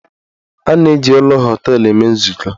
A na-eji ụlọ họteelụ eme nzukọ.